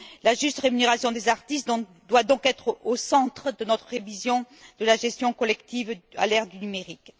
La juste rémunération des artistes doit donc être au centre de notre révision de la gestion collective à l'ère du numérique.